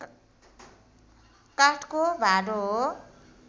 काठको भाँडो हो